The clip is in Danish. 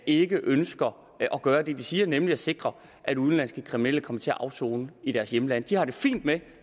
ikke ønsker at gøre det de siger nemlig sikre at udenlandske kriminelle kommer til at afsone i deres hjemlande de har det fint med at